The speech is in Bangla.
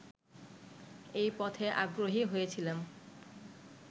এ পথে আগ্রহী হয়েছিলাম